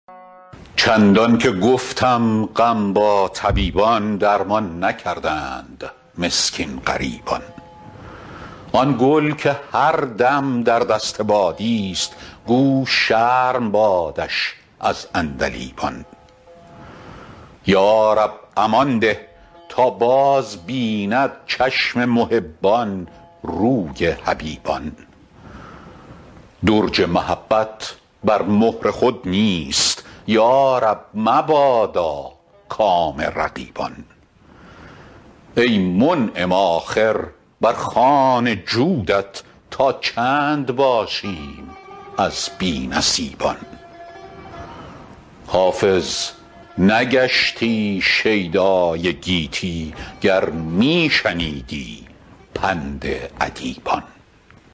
چندان که گفتم غم با طبیبان درمان نکردند مسکین غریبان آن گل که هر دم در دست بادیست گو شرم بادش از عندلیبان یا رب امان ده تا بازبیند چشم محبان روی حبیبان درج محبت بر مهر خود نیست یا رب مبادا کام رقیبان ای منعم آخر بر خوان جودت تا چند باشیم از بی نصیبان حافظ نگشتی شیدای گیتی گر می شنیدی پند ادیبان